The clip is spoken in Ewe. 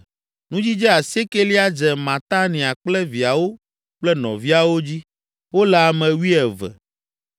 Nudzidze asiekelia dze Matania kple viawo kple nɔviawo dzi; wole ame wuieve.